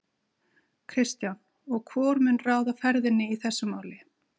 Kristján: Og hvor mun ráða ferðinni í þessu máli?